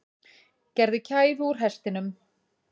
Gerði kæfu úr hestinum